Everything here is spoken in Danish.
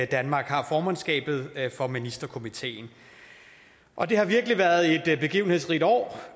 danmark har formandskabet for ministerkomiteen og det har virkelig været et begivenhedsrigt år